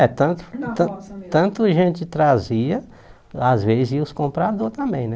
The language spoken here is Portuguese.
É, tanto tan E na roça tanto gente trazia, às vezes iam os compradores também, né?